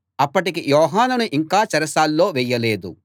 అప్పటికి యోహానును ఇంకా చెరసాల్లో వేయలేదు